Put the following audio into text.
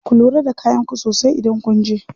Ku lura da kayan ku sosai idan kunje.